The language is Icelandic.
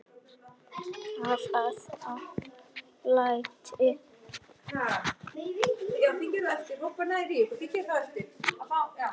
Hvaða læti?